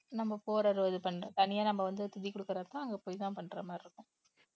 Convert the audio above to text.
நம்ம போறது இது பண்ண தனியா நம்ம வந்து திதி கொடுக்கறதுக்கு அங்க போய்தான் பண்ற மாதிரி இருக்கும்